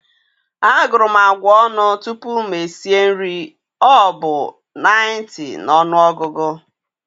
A guru m agwa onu tupu m esi nri ọ bụ 90 na ọnụọgụ.